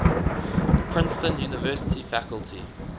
princeton university faculty